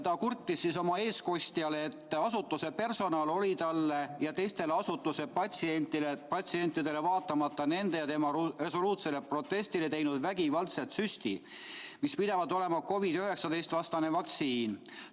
Ta kurtis oma eestkostjale, et asutuse personal oli talle ja teistele asutuse patsientidele, vaatamata nende ja tema resoluutsele protestile, teinud vägivaldselt süsti, mis pidavat olema COVID-19 vastane vaktsiin.